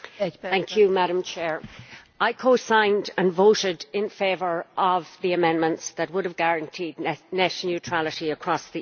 Madam President, I co signed and voted in favour of the amendments that would have guaranteed net neutrality across the EU.